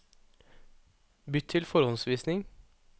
Bytt til forhåndsvisning